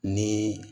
Ni